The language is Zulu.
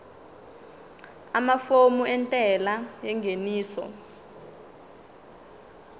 amafomu entela yengeniso